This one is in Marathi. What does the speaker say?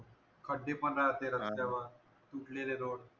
खड्डे पण रस्त्यावर फुटलेले road